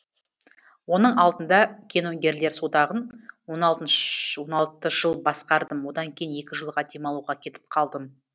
оның алдында киногерлер одағын он алты жыл басқардым одан кейін екі жылға демалуға кетіп қалдым